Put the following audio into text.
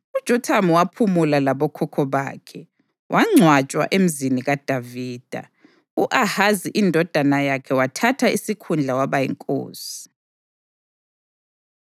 UJothamu waphumula labokhokho bakhe, wangcwatshwa eMzini kaDavida. U-Ahazi indodana yakhe wathatha isikhundla waba yinkosi.